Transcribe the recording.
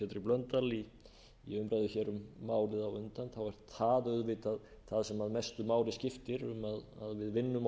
blöndal í umræðu hér um málið á undan er það auðvitað það sem mestu máli skiptir um að við vinnum